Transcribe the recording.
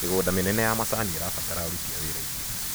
Mĩgũnda mĩnene ya macani ĩrabatara aruti a wĩra aingĩ.